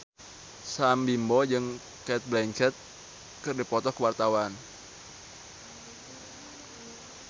Sam Bimbo jeung Cate Blanchett keur dipoto ku wartawan